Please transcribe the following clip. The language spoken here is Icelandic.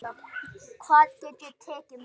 Hvað get ég tekið með?